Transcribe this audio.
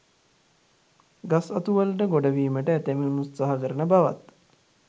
ගස් අතු වලට ගොඩවීමට ඇතැමුන් උත්සාහ කරන බවත්